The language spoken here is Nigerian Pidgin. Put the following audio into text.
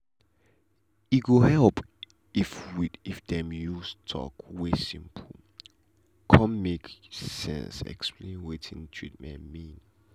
e go help well if dem dey use talk wey simple cun make sense explain wetin treatment mean.